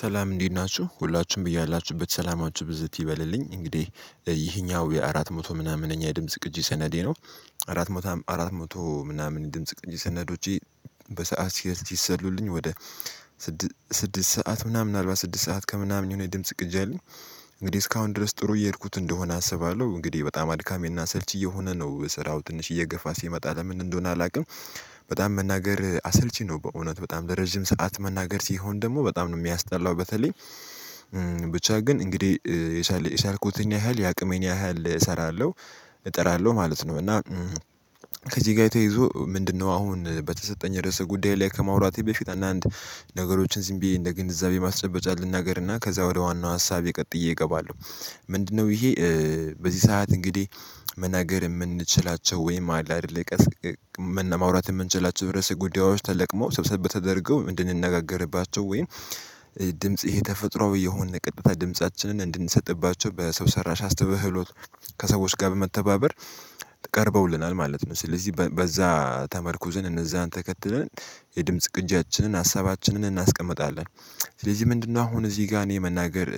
ሰላም እንዴት ናችሁ ሁላችሁም በያላችሁበት ሰላማችሁ ብዝት ይበልልኝ እንግዲህ ይሄኛው የአራት መቶኛ ምናምን እኛ የድምጽ ቅጂ ሰነዴ ነው። አራት መቶ አራት መቶ ምናምን ድምጽ ቅጅ ሰነዶቼ። በሰአት ሲሰሉልኝ ወደ ስድስት ሰዓት ምናምን አልባ ስድስት ሰዓት ከምናምን የሆነ ድምጽ ቅጅ አለኝ እንግዲህ እስካሁን ድረስ ጥሩ እየሄድኩት እንደሆነ አስባለሁ። እንግዲህ በጣም አድካሚና አሰልቺ እየሆነ ነው ስራው ትንሽ እየገፋ ሲመጣ ለምን እንደሆነ አላቅም። በጣም መናገር አሰልቺ ነው በእውነት በጣም ለረጅም ሰዓት መናገር ሲሆን ደግሞ በጣም ነው የሚያስጠላው። በተለይ ብቻ ግን እንግዲህ የቻልኩትን ያህል የአቅሜን ያህል እሰራለሁ። እጥራለሁ ማለት ነው። እና ከዚህ ጋ ተያይዞ ምንድነው? አሁን በተሰጠኝ ረእሰ ጉዳይ ላይ ከማውራቴ በፊት አንዳንድ ነገሮችን ዝም ብዬ እንደ ግንዛቤ ማስጨበጫ ልናገርና ከዛ ወደ ዋናው ሀሳብ ቀጠዬ እገባለሁ። ምንድነው ይሄ? በዚህ ሰዓት እንግዲህ መናገር የምንችላቸው ወይም አለ አይደለ? ማዉራት የምንችላቸው ርዕስ ጉዳዮች ተለቅመው ሰብሰብ ተደርገው እንድንነጋገርባቸው ወይም ድምጽ ይሄ ተፈጥሮአዊ የሆነ ቀጥታ ድምጻችንን እንድንሰጥባቸው በሰው ሰራሽ አስተውህሎት ከሰዎች ጋር በመተባበር ቀርበውልናል ማለት ነው። ስለዚህ በዛ ተመርኩዝን እነዛን ተከትለን የድምጽ ቅጂያችንን ሀሳባችንን እናስቀምጣለን። ስለዚህ ምንድነው? አሁን እዚህ ጋር እኔ መናገር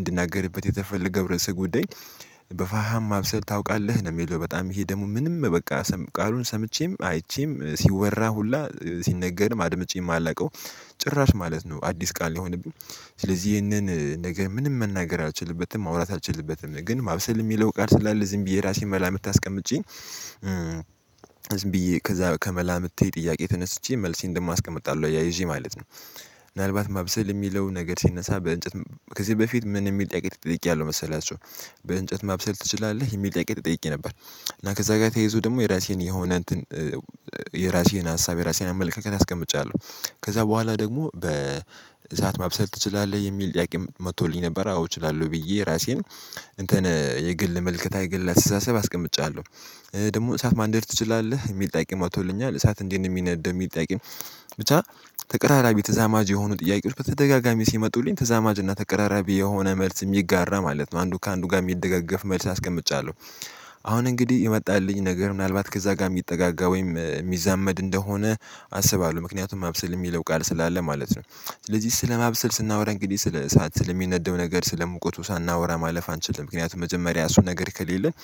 እንድናገርበት የተፈለገው ረእስ ጉዳይ በፋሃም ማብሰል ታውቃለህ ነው? እሚለው በጣም ይሄ ደሞ ምንም በቃ ቃሉን ሰምቼም አይቼም ሲወራ ሁላ ሲነገርም አድምጬ የማላቀው። ጭራሽ ማለት ነው አዲስ ቃል ነው የሆነብኝ። ስለዚህ ይሄንን ነገር ምንም መናገር አልችልበትም። ማውራት አልችልበትም ግን ማብሰል የሚለው ጋር ስላለ ዝም ብዬ የራሴን መላ ምት አስቀምጬ። ዝም ብዬ ከዛ ከመላምቴ ጥያቄ ተነስቼ መልሴን እንደ አስቀምጣለሁ አያይዤ ማለት ነው። ምናልባት ማብሰል እሚለው ነገር ሲነሳ በእንጨት ከዚህ በፊት ምን እሚል ጠያቄ ተጠይቄያለሁ። መሰላቹሁ በእንጨት ማብሰል ትችላለህ? የሚል ጥያቄ ተጠይቄ ነበር። እና ከዛ ጋር ተይዞ ደግሞ የራሴን የሆነ እንትን የራሴን ሀሳብ የራሴን አመለካከት አስቀምጫለሁ። ከዛ በኋላ ደግሞ በእሳት ማብሰል ትችላለህ የሚል ጥያቄም መቶልኝ ነበር? አዎ እችላለሁ ብዬ ራሴን እንትን የግል መልከታዬ የግል አስተሳሰብ አስቀምጫለሁ። ደግሞ እሳት ማንደድ ትችላለህ? የሚል ጥያቄም መቶልኛል እሳት እንዲት ነው የሚነደው የሚል ጥያቄም? ብቻ ተቀራራቢ ተዛማጅ የሆኑ ጥያቄዎች በተደጋጋሚ ሲመጡልኝ ተዛማጅ እና ተቀራራቢ የሆነ መልስ እሚጋራ ማለት ነው። አንዱ ከአንዱ ጋር የሚደጋገፍ መልስ አስቀምጫለሁ። አሁን እንግዲህ የመጣልኝ ነገር ምናልባት ከዛ ጋር የሚጠጋጋ ወይም እሚዛመድ እንደሆነ አስባለሁ ምክንያቱም ማብሰል እሚለው ቃል ስላለ ማለት ነው። ስለዚህ ስለማብሰል ስናወራ እንግዲህ ስለ እሳት ስለሚነደው ነገር ስለሙቁቱ ሳናወራ ማለፍ አንችልም። ምክንያቱም መጀመሪያ እሱ ነገር ከሌለን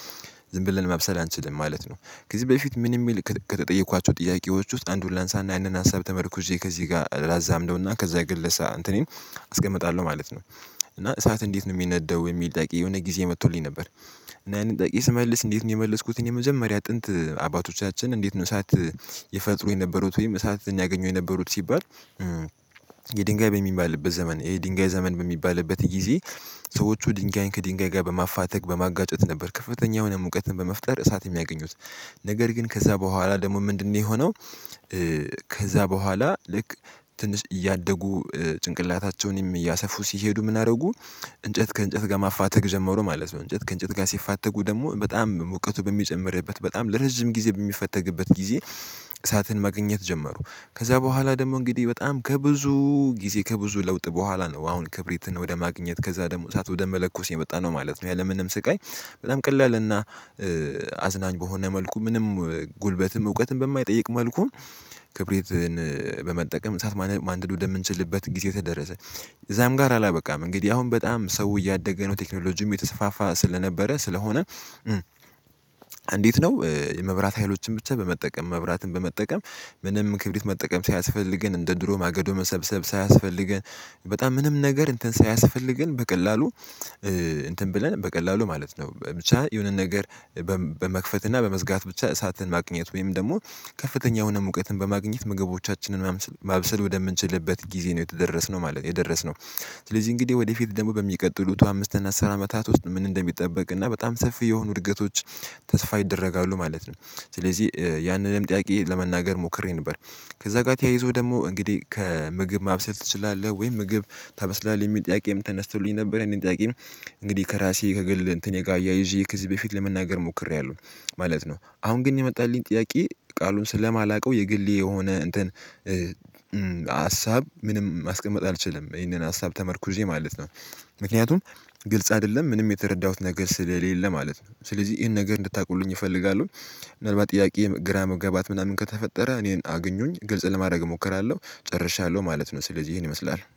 ዝም ብለን ማብሰል አንችልም ማለት ነው። ከዚህ በፊት ምን እሚል ከተጠየኳቸው ጥያቄዎች ውስጥ አንዱን ላንሳ እና ያንን ሀሳብ ተመርኩዤ ከዚህ ጋር ላዛምደውና ከዛ የግል እንትኔን አስቀምጣለሁ ማለት ነው። እና እሳት እንዴት ነው እሚነደው? የሚል ጠያቄ የሆነ ጊዜ መቶልኝ ነበር። እና ይሄንን ጠያቄ ስመልስ እንዴት ነው የመለስኩትኝ የመጀመሪያ ጥንት አባቶቻችን እንዴት ነው እሳት? የፈጠሩ የነበሩት ወይም እሳት ያገኙ የነበሩት ሲባል። የድንጋይ በሚባልበት ዘመን የድንጋይ ዘመን በሚባልበት ጊዜ ሰዎቹ ድንጋይን ከድንጋይ ጋር በማፋተግ በማጋጨት ነበር ከፍተኛ የሆነ ሙቀትን በመፍጠር እሳት የሚያገኙት። ነገር ግን ከዛ በኋላ ደግሞ ምንድነው? የሆነው ከዛ በኋላ ልክ ትንሽ እያደጉ ጭንቅላታቸውንም እያሰፉ ሲሄዱ ምነ አረጉ። እንጨት ከእንጨት ጋር ማፋተግ ጀመሩ ማለት ነው። እንጨት ከእንጨት ጋር ሲፋተጉ ደግሞ በጣም ሙቀቱ በሚጨምርበት በጣም ለረጅም ጊዜ በሚፈተግበት ጊዜ። እሳትን ማገኘት ጀመሩ። ከዛ በኋላ ደግሞ እንግዲህ በጣም ከብዙ ጊዜ ከብዙ ለውጥ በኋላ ነው አሁን ክብሪትን ወደ ማግኘት ከዛ ደግሞ እሳት ወደ መለኮስ የመጣነው ማለት ነው። ያለምንም ስቃይ በጣም ቀላል እና አዝናኝ በሆነ መልኩ ምንም ጉልበትም እውቀትም በማይጠይቅ መልኩም ክብሪትን በመጠቀም እሳት ማንደድ ወደ ምንችልበት ጊዜ ተደረሰ። እዛም ጋር አላበቃም እንግዲህ አሁን በጣም ሰው እያደገ ነው ቴክኖሎጂዉም እየተሰፋፋ ስለነበረ ስለሆነ። እንዴት ነው የመብራት ሀይሎችን ብቻ በመጠቀም መብራትን በመጠቀም? ምንም ክብሪት መጠቀም ሳያስፈልገን እንደ ድሮ ማገዶ መሰብሰብ ሳያስፈልገን በጣም ምንም ነገር እንትን ሳያስፈልገን በቀላሉ። እንትን ብለን በቀላሉ ማለት ነው ብቻ የሆነን ነገር በመክፈት እና በመዝጋት ብቻ እሳትን ማግኘት ወይም ደግሞ ከፍተኛ የሆነ ሙቀትን በማግኘት ምግቦቻችንን ማብሰል ወደምንችልበት ጊዜ ነው የተደረስነው ማለት ነው። የደረስነው ስለዚህ እንግዲህ ወደፊት ደግሞ በሚቀጥሉት አምስት እና አስር አመታት ውስጥ ምን እንደሚጠበቅ እና በጣም ሰፊ የሆኑ እድገቶች ተስፋ ይደረጋሉ ማለት ነው። ስለዚህ ያንንም ጥያቄ ለመናገር ሞክሬ ነበር። ከዛ ጋ ተያይዞ ደግሞ እንግዲህ ከምግብ ማብሰል ትችላለህ ወይም ምግብ ታበስላለህ የሚል ጥያቄም ተነስቶልኝ ነበር። የንን ጥያቄም። እንግዲህ ከራሴ ከግል እንትኔ ጋር እያይዤ ከዚህ በፊት ለመናገር ሞክሬያለሁ ማለት ነው። አሁን ግን የመጣልኝ ጥያቄ ቃሉን ስለማላውቀው የግሌ የሆነ እንትን ሀሳብ ምንም ማስቀመጥ አልችልም። ይህንን ሀሳብ ተመርኩዜ ማለት ነው። ምክንያቱም ግልጽ አደለም ምንም የተረዳሁት ነገር ስለሌለ ማለት ነው። ስለዚህ ይሄን ነገር እንድታውቁልኝ እፈልጋለሁ። ምናልባት ጥያቄ ግራ መገባት ምናምን ከተፈጠረ እኔን አግኙኝ ግልጽ ለማድረግ እሞክራለሁ ጨርሻለሁ ማለት ነው። ስለዚህ ይሄን ይመስላል